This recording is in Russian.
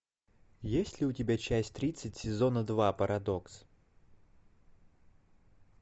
есть ли у тебя часть тридцать сезона два парадокс